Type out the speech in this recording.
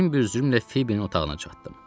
Min büzrümlə Fibinin otağına çatdım.